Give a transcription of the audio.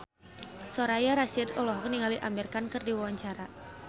Soraya Rasyid olohok ningali Amir Khan keur diwawancara